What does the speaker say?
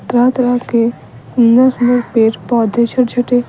तरह तरह के पेर - पोधे छोटे छोटे --